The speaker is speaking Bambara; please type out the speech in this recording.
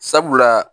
Sabula